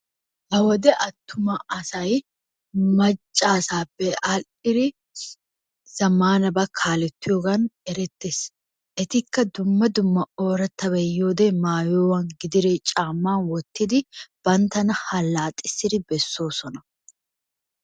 Ha wode attuma asay macca asappe adhidi zammanabaa kaalettiyogaan erettees. Etikka dumma dumma oorattabay yiyode maayuwa gidiree caammaa wottidi banttana halaxxissidi bessoosona.